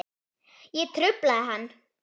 Ég trufla hana.